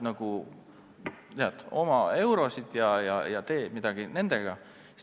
Sa tead oma eurosid ja tee midagi nendega.